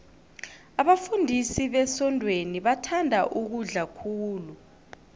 abafundisi besontweni bathanda ukudla khulu